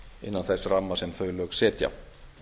innan þess ramma sem þau lög setja